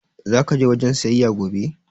Zaka je wajen siyayya gobe?